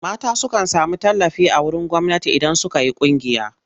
Mata sukan sami tallafi a wurin gwamnati idan suka yi ƙungiya.